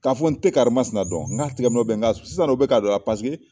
K'a fɔ n tɛ karima sina dɔn, n k'a tɛgɛ nɔɔ bɛ n kan sisan u bɛ k'a don a la .